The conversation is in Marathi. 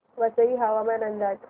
वसई हवामान अंदाज